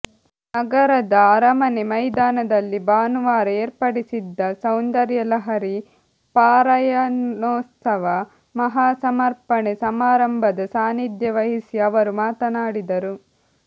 ನಗರದ ಅರಮನೆ ಮೈದಾನದಲ್ಲಿ ಭಾನುವಾರ ಏರ್ಪಡಿಸಿದ್ದ ಸೌಂದರ್ಯಲಹರೀ ಪಾರಾಯಣೋತ್ಸವ ಮಹಾಸಮರ್ಪಣೆ ಸಮಾರಂಭದ ಸಾನ್ನಿಧ್ಯ ವಹಿಸಿ ಅವರು ಮಾತನಾಡಿದರು